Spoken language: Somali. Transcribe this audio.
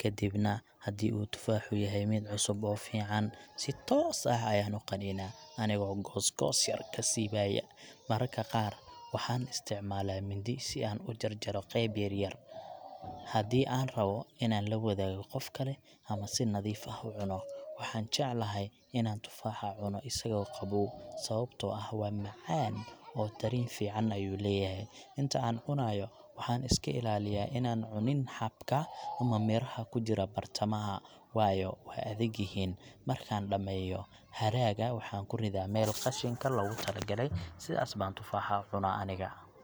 Kadibna, haddii uu tufaaxa yahay mid cusub oo fiican, si toos ah ayaan u qaniinaa anigoo googoos yar ka siibaya. Mararka qaar waxaan isticmaalaa mindi si aan u jarjaro qayb yar-yar, haddii aan rabbo inaan la wadaago qof kale ama aan si nadiif ah u cuno. Waxaan jecelahay inaan tufaaxa cuno isagoo qabow, sababtoo ah waa macaan oo dareen fiican ayuu leeyahay. Inta aan cunayo, waxaan iska ilaaliyaa inaan cunin xabka ama miraha ku jira bartamaha, waayo waa adag yihiin. Markaan dhammeeyo, hadhaaga waxaan ku ridaa meel qashinka loogu talagalay. Sidaas baan tufaax u cunaa aniga.